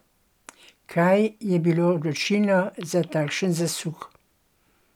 Kaj je bilo odločilno za takšen zasuk?